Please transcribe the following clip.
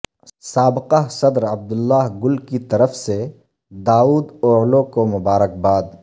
سابقہ صدر Abdullah Gul کی طرف سے داود اوعلو کو مبارکباد